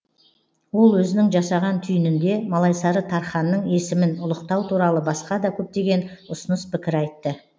ол өзінің жасаған түйінінде малайсары тарханның есімін ұлықтау туралы басқа да көптеген ұсыныс пікір айтты